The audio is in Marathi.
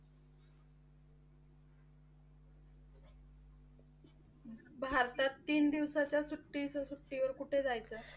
भारतात तीन दिवसाच्या सुट्टी सुट्टीवर कुठे जायचं आहे?